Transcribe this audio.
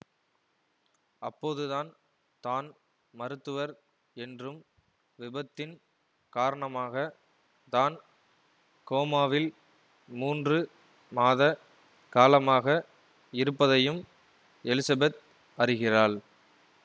அப்போதுதான் தான் மருத்துவர் என்றும் விபத்தின் காரணமாக தான் கோமாவில் மூன்று மாத காலமாக இருப்பதையும் எலிசபெத் அறிகிறாள்